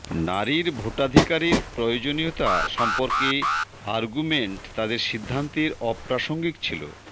নারীর ভোটাধিকারের প্রয়োজনীয়তা সম্পর্কে আর্গুমেন্ট তাদের সিদ্ধান্তের অপ্রাসঙ্গিক ছিল